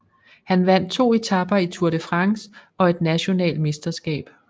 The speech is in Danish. Han vandt 2 etaper i Tour de France og et national mesterskab